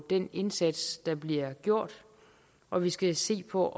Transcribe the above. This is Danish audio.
den indsats der bliver gjort og vi skal se på